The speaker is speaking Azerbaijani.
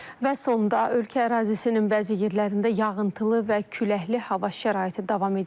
Və sonda ölkə ərazisinin bəzi yerlərində yağıntılı və küləkli hava şəraiti davam edir.